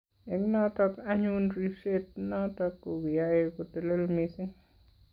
Eng' notok anyun ripset notok ko kiyae kotelel mising'